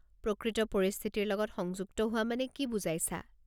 প্ৰকৃত পৰিস্থিতিৰ লগত সংযুক্ত হোৱা মানে কি বুজাইছা?